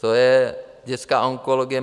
To je dětská onkologie.